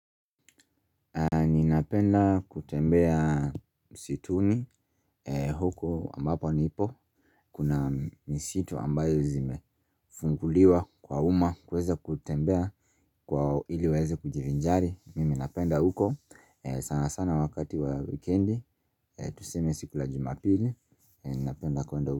Ninapenda kutembea msituni huku ambapo nipo. Kuna misitu ambaye zimefunguliwa kwa umma kuweza kutembea kwa iliweze kujivinjari. Mimi napenda huko sana sana wakati wa weekendi. Tuseme siku la jumapili. Mimi napenda kwa huko.